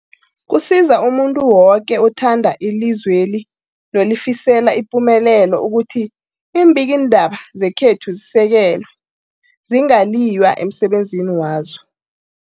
Kusiza umuntu woke othanda ilizweli nolifisela ipumelelo ukuthi iimbikiindaba zekhethu zisekelwe, zingaliywa emsebenzini wazo.